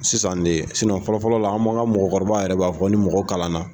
Sisan de fɔlɔ fɔlɔ la de, an m'an ka mɔgɔkɔrɔba yɛrɛ b'a fɔ ni mɔgɔ kalan na